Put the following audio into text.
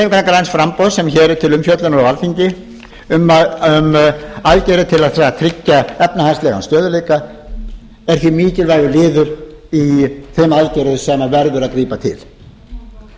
hreyfingarinnar græns framboðs sem hér er til umfjöllunar á alþingi um aðgerðir til að að tryggja efnahagslegan stöðugleika er því mikilvægur liður í þeim aðgerðum sem verður að grípa til eins